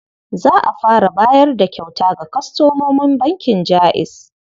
Za a fara bayar da kyauta ga kwastomomin bankin Jaiz.